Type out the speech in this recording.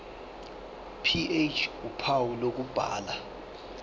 ph uphawu lokubhala